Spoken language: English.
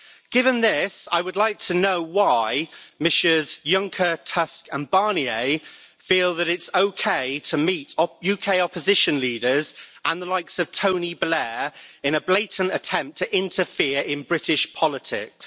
Given this, I would like to know why Messrs Juncker, Tusk and Barnier feel that it's okay to meet UK opposition leaders and the likes of Tony Blair in a blatant attempt to interfere in British politics.